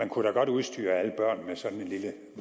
kunne da godt udstyre alle børn med sådan en lille